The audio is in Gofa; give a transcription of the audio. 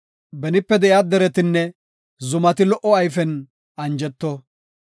Benipe de7iya deretinne zumati lo77o ayfen anjeto.